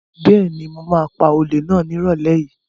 Bẹ́ẹ̀ni, mo ma pa olè náà ní ìrọ̀lẹ́ yìí